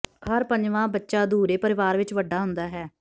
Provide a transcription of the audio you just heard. ਹਰ ਪੰਜਵਾਂ ਬੱਚਾ ਅਧੂਰੇ ਪਰਿਵਾਰ ਵਿੱਚ ਵੱਡਾ ਹੁੰਦਾ ਹੈ